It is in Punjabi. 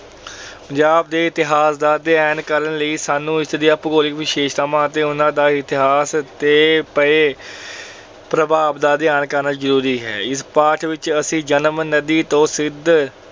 ਪੰਜਾਬ ਦੇ ਇਤਿਹਾਸ ਦਾ ਅਧਿਐਨ ਕਰਨ ਲਈ ਸਾਨੂੰ ਇਸ ਦੀਆਂ ਭੂਗੋਲਿਕ ਵਿਸ਼ੇਸ਼ਤਾਵਾਂ ਅਤੇ ਉਹਨਾਂ ਦਾ ਇਤਿਹਾਸ ਤੇ ਪਏ ਪ੍ਰਭਾਵ ਦਾ ਅਧਿਐਨ ਕਰਨਾ ਜਰੂਰੀ ਹੈ। ਇਸ ਪਾਠ ਵਿੱਚ ਅਸੀਂ ਜੇਹਲਮ ਨਦੀ ਤੋਂ ਸਿੰਧ